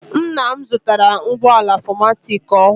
Ńnà m zụtara ụgbọala 4matic ọhụụ.